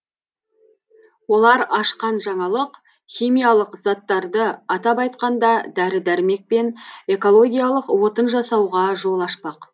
олар ашқан жаңалық химиялық заттарды атап айтқанда дәрі дәрмек пен экологиялық отын жасауға жол ашпақ